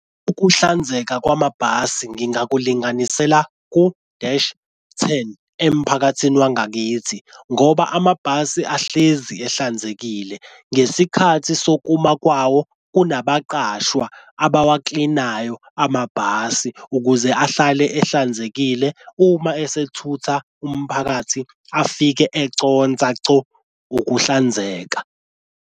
Ukuhlanzeka kwamabhasi ngingakulinganisela ku-dash ten emphakathini wangakithi, ngoba amabhasi ahlezi ehlanzekile ngesikhathi sokuma kwawo unabaqashwa abawaklinayo amabhasi ukuze ahlale ehlanzekile uma esethutha umphakathi afike econsa co ukuhlanzeka.